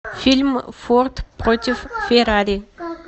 фильм форд против феррари